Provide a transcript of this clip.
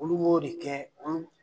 Olu'o de kɛ.